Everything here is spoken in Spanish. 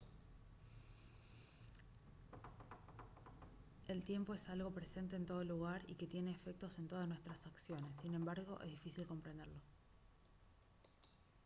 el tiempo es algo presente en todo lugar y que tiene efectos en todas nuestras acciones sin embargo es difícil comprenderlo